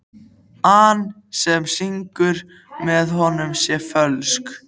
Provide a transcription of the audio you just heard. an sem syngur með honum sé fölsk.